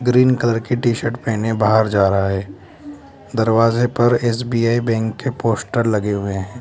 Green colour की T shirt पहने बाहर जा रहे है दरवाजे पर एस_बी_आई बैंक के पोस्टर लगे हुए है।